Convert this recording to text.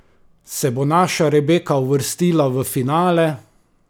Se bo naša Rebeka uvrstila v finale?